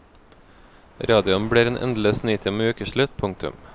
Radioen blir en endeløs nitime og ukeslutt. punktum